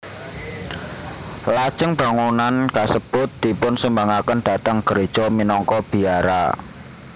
Lajeng bangunan kasebut dipunsumbangaken dhateng gréja minangka biara